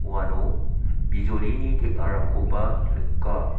uano bijolini teng·arangkoba nika.